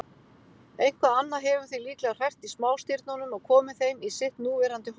Eitthvað annað hefur því líklega hrært í smástirnunum og komið þeim í sitt núverandi horf.